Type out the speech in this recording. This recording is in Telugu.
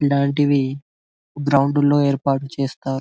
ఇలాంటివి గ్రౌండ్ లో ఏర్పాటు చేస్తారు.